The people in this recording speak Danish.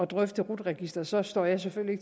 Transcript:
drøfte rut registeret så står jeg selvfølgelig